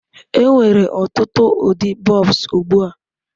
Enwere ọtụtụ ụdị bulbs ugbu a.